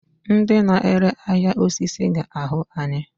Ndị na-ere ahịa osisi ga-ahụ anyị.